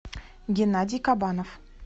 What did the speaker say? геннадий кабанов